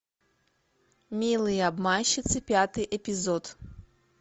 милые обманщицы пятый эпизод